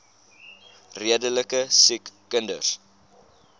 redelike siek kinders